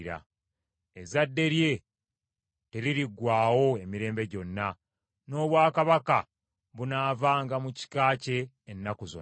Ezzadde lye teririggwaawo emirembe gyonna, n’obwakabaka bunaavanga mu kika kye ennaku zonna.